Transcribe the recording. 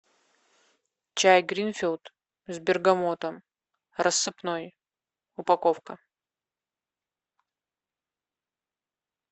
чай гринфилд с бергамотом рассыпной упаковка